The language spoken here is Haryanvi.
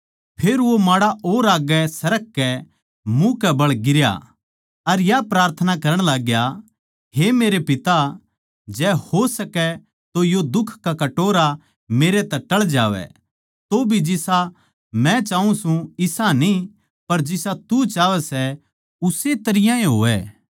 फेर वो माड़ा और आग्गै सरक कै मुँह कै बळ गिरया अर या प्रार्थना करण लाग्या हे मेरे पिता जै हो सकै तो यो दुख का कटोरा मेरै तै टळ जावै तौभी जिसा मै चाऊँ सूं इसा न्ही पर जिसा तू चाहवै सै उस्से तरियां ए होवै